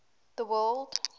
the word